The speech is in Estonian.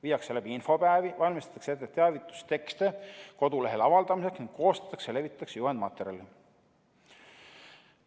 Viiakse läbi infopäevi, valmistatakse ette teavitustekste kodulehel avaldamiseks ning koostatakse ja levitatakse juhendmaterjali.